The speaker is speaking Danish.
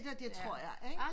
Det tror jeg ikke